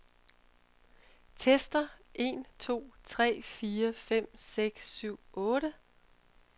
Tester en to tre fire fem seks syv otte.